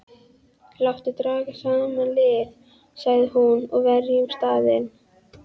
Láttu draga saman lið, sagði hún,-og verjum staðinn.